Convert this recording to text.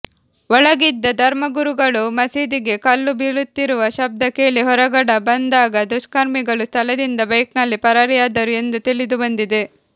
ಒಳಗಿದ್ದ ಧರ್ಮಗುರುಗಳು ಮಸೀದಿಗೆ ಕಲ್ಲು ಬೀಳುತ್ತಿರುವ ಶಬ್ದ ಕೇಳಿ ಹೊರಗಡ ಬಂದಾಗ ದುಷ್ಕರ್ಮಿಗಳು ಸ್ಥಳದಿಂದ ಬೈಕ್ನಲ್ಲಿ ಪರಾರಿಯಾದರು ಎಂದು ತಿಳಿದುಬಂದಿದೆ